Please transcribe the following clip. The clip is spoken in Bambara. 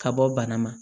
Ka bɔ bana ma